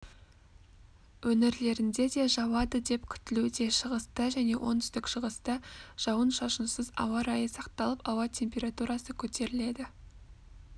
өңірлерінде де жауады деп күтілуде шығыста және оңтүстік-шығыста жауын-шашынсыз ауа райы сақталып ауа температурасы көтеріледі